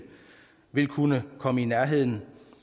vil kunne komme i nærheden